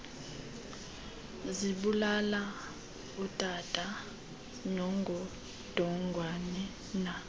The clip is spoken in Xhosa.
zibulale utana nongodongwana